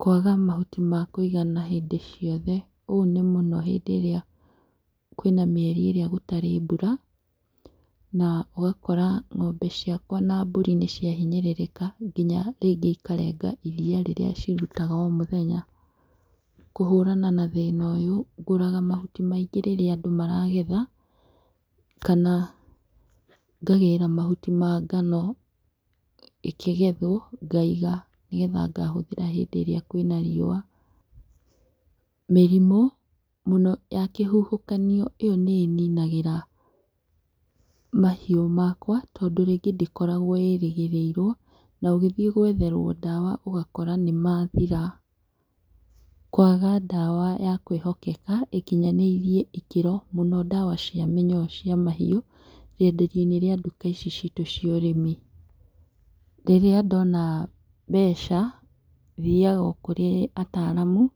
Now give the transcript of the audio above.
Kwaga mahuti ma kũigana hĩndĩ ciothe. Ũũ nĩ mũno hĩndĩ ĩrĩa kwĩna mĩeri ĩrĩa gũtarĩ mbura, na ũgakora ng'ombe ciakwa na mburi nĩ cia hinyĩrĩrĩka nginya rĩngĩ ikarenga iria rĩrĩa cirutaga o mũthenya. kũhũrana na thĩna ũyũ ngũraga mahuti maingĩ rĩrĩa andũ maragetha, kana ngagĩra mahuti ma ngano, ĩkĩgethwo ngaiga nĩgetha ngahũthĩra hĩndĩ ĩrĩa kwĩna riũa. Mĩrimũ mũno ya kĩhuhũkanio ĩyo nĩ ĩninagĩra mahiũ makwa, tondũ rĩngĩ ndĩkoragwo ĩrĩgĩrĩirwo na ũgĩthiĩ gwetherwo ndawa ũgakora nĩ mathira. Kwaga ndawa ya kwĩhokeka ĩkinyanĩire ikĩro mũno ndawa cia mĩnyoo cia mahiũ, rĩenderio-inĩ rĩa nduka ici citũ cia ũrĩmi. Rĩrĩa ndona mbeca thiaga o kũrĩ ataraamu